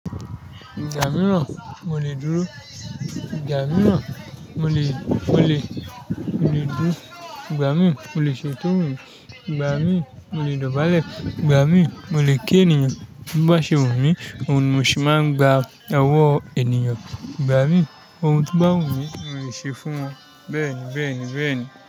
Igbba miram, mo le duro. Gba mi mọ, mo le, mo le, mo le duro. Igba mii, mo le ṣe into wu mìn. Gba mi mọ, mo le dọ̀bálẹ̀. Igba mii, mo le kí ènìyàn. Bi o bá ṣe wu mí, òhun ni mo se máa ń gba owọ ènìyàn. Igba min, ohun tí o bá wù mí, mo lè ṣe fún ọ. Bẹ́ẹ̀ni, bẹ́ẹ̀ni, bẹ́ẹ̀ni.